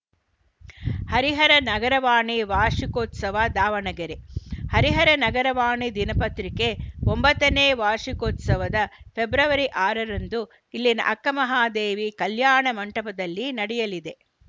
ಹರಿಹರ ನಗರವಾಣಿ ವಾರ್ಷಿಕೋತ್ಸವ ದಾವಣಗೆರೆ ಹರಿಹರ ನಗರವಾಣಿ ದಿನಪತ್ರಿಕೆ ಒಂಬತ್ತು ನೇ ವಾರ್ಷಿಕೋತ್ಸವ ಫೆಬ್ರವರಿ ಆರ ರಂದು ಇಲ್ಲಿನ ಅಕ್ಕಮಹಾದೇವಿ ಕಲ್ಯಾಣ ಮಂಟಪದಲ್ಲಿ ನಡೆಯಲಿದೆ